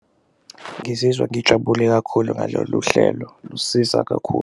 Ngizizwa ngijabule kakhulu ngalolu hlelo, lusiza kakhulu.